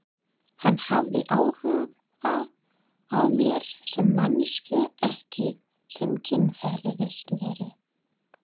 Hann hafði áhuga á mér sem manneskju ekki sem kynferðisveru?